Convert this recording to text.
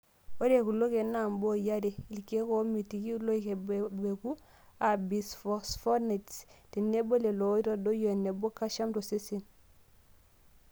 Ore kulo keek na mboi are:ilkeek oomiti loik ebebeku aa bisphosphonates tenebo lelo oitadoyio eneba calcium tosesen.